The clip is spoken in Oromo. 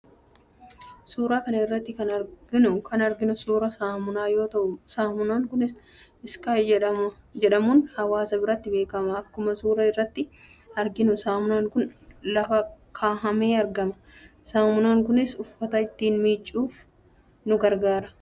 Suuraa kana irratti kan arginu suuraa saamunaa yoo ta'u, saamunaan kunis 'Sky' jedhamuun hawaasa biratti beekama. Akkuma suuraa irratti arginu saamunaan kun lafa kaahamee argama. Saamunaan kunis uffata ittiin miiccachuuf nu gargaara.